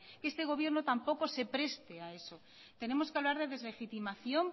que este gobierno tampoco se preste a eso tenemos que hablar de deslegitimación